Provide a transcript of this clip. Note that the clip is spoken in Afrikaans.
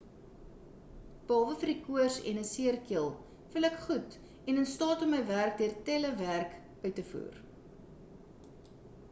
behalwe vir die koors en 'n seer keel voel ek goed en in staat om my werk deur telewerk uit te voer